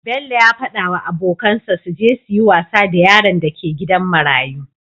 Bello yafada wa abokan sa suje suyi wasa da yaron da ke gidan marayu